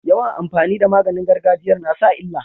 Yawan amfani da maganin gargajiyar nasa illa